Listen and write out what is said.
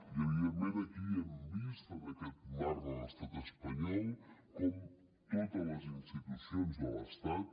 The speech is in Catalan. i evidentment aquí hem vist en aquest marc de l’estat espanyol com totes les institucions de l’estat